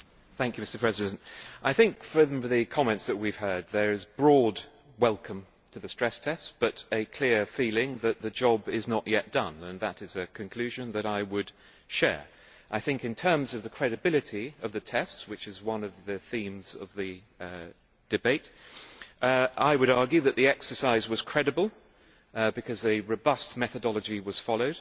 Mr President, I think, from the comments we have heard, there is a broad welcome for the stress test but a clear feeling that the job is not yet done, and that is a conclusion that I would share. I think in terms of the credibility of the test, which is one of the themes of the debate, I would argue that the exercise was credible because a robust methodology was followed